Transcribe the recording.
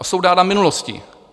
A jsou dána minulostí.